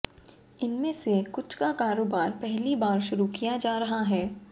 इनमें से कुछ का कारोबार पहली बार शुरू किया जा रहा है